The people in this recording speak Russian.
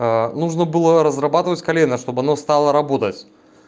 нужно было разрабатывать колено чтобы оно стало работать